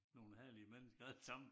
Nogen herlige mennesker alle sammen